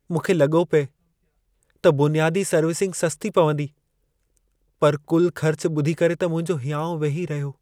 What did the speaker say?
मुंखे लॻो पिए त बुनियादी सर्विसिंग सस्ती पवंदी, पर कुल ख़र्च ॿुधी करे त मुंहिंजो हियाउं वेही रहियो।